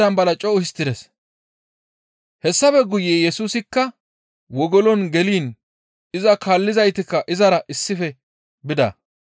Hessafe guye Yesusikka wogolon geliin iza kaallizaytikka izara issife bida.